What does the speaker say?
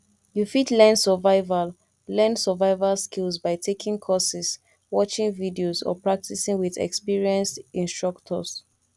you fit learn survival learn survival skills by taking courses watching videos or practicing with experienced instructors